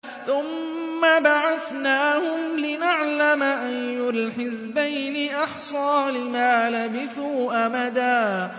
ثُمَّ بَعَثْنَاهُمْ لِنَعْلَمَ أَيُّ الْحِزْبَيْنِ أَحْصَىٰ لِمَا لَبِثُوا أَمَدًا